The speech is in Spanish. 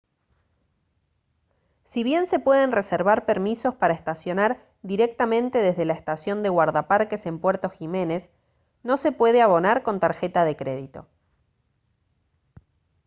si bien se pueden reservar permisos para estacionar directamente desde la estación de guardaparques en puerto jiménez no se puede abonar con tarjeta de crédito